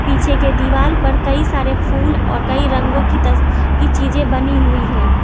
पीछे के दीवाल पर कई सारे फूल और कई रंगों की तस की चीजे बनी हुई हैं।